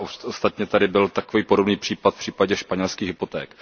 Včera ostatně tady byl takový podobný případ v případě španělských hypoték.